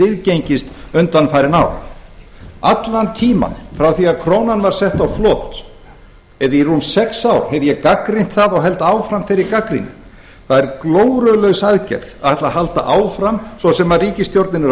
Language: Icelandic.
viðgengist undanfarin ár allan tímann frá því að krónan var sett á flot eða í rúm sex ár hef ég gagnrýnt það og held áfram þeirri gagnrýni það er glórulaus aðgerð að ætla að halda áfram svo sem ríkisstjórnin er að